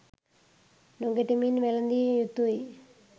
නොගැටෙමින් වැළඳිය යුතුයි.